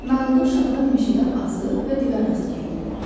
Nağılda uşaqlar meşədə azır və divə rast gəlirlər.